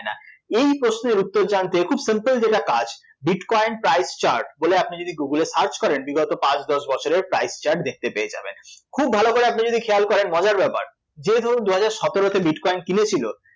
এই প্রশ্নের উত্তর জানতে খুব simple যেটা কাজ bitcoin price chart বলে আপনি যদি গুগলে search করেন বিগত পাঁচ দশ বছরের price chart দেখতে পেয়ে যাবেন, খুব ভালো করে আপনি যদি খেয়াল করেন, মজার ব্যাপার যে ধরুন দুহাজার সতেরোতে bitcoin কিনেছিল